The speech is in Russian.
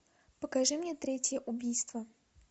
покажи мне третье убийство